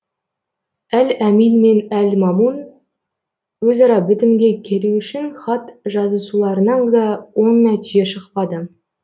әл әмин мен әл мәмун өзара бітімге келу үшін хат жазысуларынан да оң нәтиже шықпады